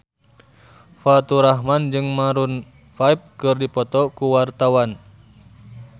Faturrahman jeung Maroon 5 keur dipoto ku wartawan